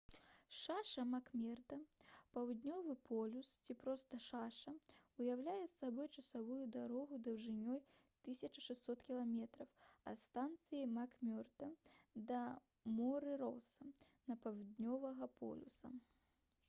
шаша мак-мерда — паўднёвы полюс ці проста шаша уяўляе сабой часовую дарогу даўжынёй 1600 км ад станцыі мак-мерда на моры роса да паўднёвага полюса